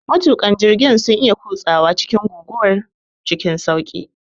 Matuƙan jirgin sun iya kutsawa cikin guguwar cikin sauƙi.